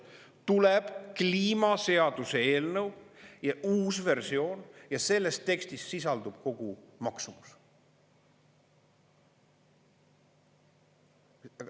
Tuleb kliimaseaduseelnõu uus versioon ja selles tekstis sisaldub kogu maksumus.